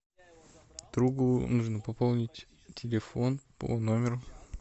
другу нужно пополнить телефон по номеру